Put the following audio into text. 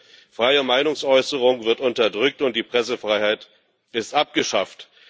Die freie Meinungsäußerung wird unterdrückt, und die Pressefreiheit ist abgeschafft.